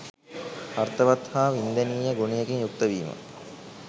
අර්ථවත් හා වින්දනීය ගුණයකින් යුක්ත වීම